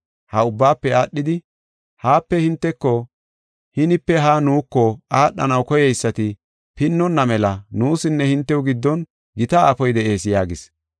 Ha ubbaafe aadhidi, ‘Haape hinteko, hinipe haa nuuko aadhanaw koyeysati pinnonna mela nuusinne hintew giddon gita aafoy de7ees’ yaagis.